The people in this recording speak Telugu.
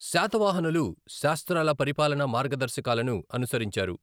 శాతవాహనులు శాస్త్రాల పరిపాలన మార్గదర్శకాలను అనుసరించారు.